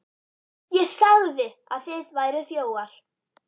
ÉG SAGÐI AÐ ÞIÐ VÆRUÐ ÞJÓFAR.